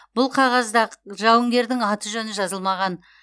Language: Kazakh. бұл қағазда жауынгердің аты жөні жазылмаған